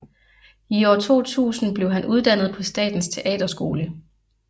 I år 2000 blev han uddannet på Statens Teaterskole